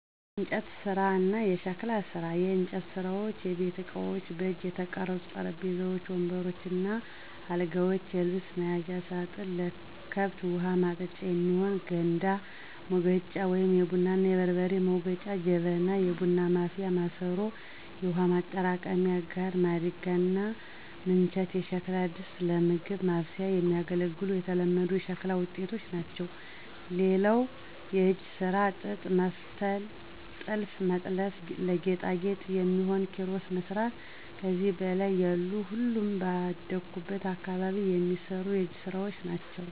**የእንጨት ስራ እና የሸክላ ስራ፦ *የእንጨት ስራዎች * የቤት እቃዎች: በእጅ የተቀረጹ ጠረጴዛዎች፣ ወንበሮች እና አልጋዎች፣ የልብስ መያዣ ሳጥን፣ ለከብት ውሀ ማጠጫ የሚሆን ከበታ፣ ሙገጫ(የቡና እና የበርበሬ መውገጫ) ጀበና (የቡና ማፍያ ማሰሮ)፣ የውሃ ማጠራቀሚያ ጋን፣ ማድጋ እና ምንቸት የሸክላ ድስቶች ለምግብ ማብሰያ የሚያገለግሉ የተለመዱ የሸክላ ውጤቶች ናቸው። *ሌላው የእጅ ስራ ጥጥ መፍተል *ጥልፍ መጥለፍ *ለጌጣጌጥ የሚሆኑ ኪሮስ መስራት ከዚህ በላይ ያሉ ሁሉም ባደኩበት አካባቢ የሚሰሩ የእጅ ስራወች ናቸው።